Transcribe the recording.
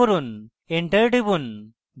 enter টিপুন